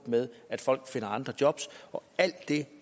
med at folk finder andre jobs alt det